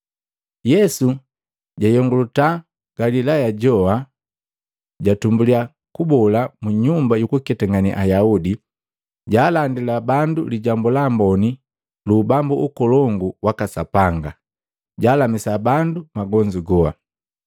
Yesu jayongolatiya Galilaya joa, jatumbuliya kuboola mu nyumba yukuketangane Ayaudi, jaalandila bandu Lijambu la Amboni lu Ubambu ukolongu waka Sapanga. Jaalamisa bandu magonzu goa.